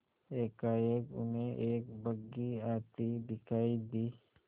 एकाएक उन्हें एक बग्घी आती दिखायी दी